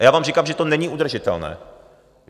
A já vám říkám, že to není udržitelné.